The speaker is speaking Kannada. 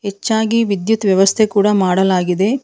ಹೆಚ್ಚಾಗಿ ವಿದ್ಯುತ್ ವ್ಯವಸ್ಥೆ ಕೂಡ ಮಾಡಲಾಗಿದೆ.